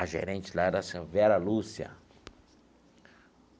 A gerente lá era assim Vera Lúcia.